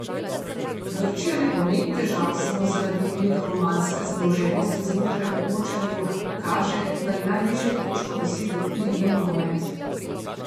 Grčija ne pomeni težav samo zaradi megalomanske zadolženosti znotraj območja evra, kaže, da je najnižjo točko dosegel tudi njen nogomet.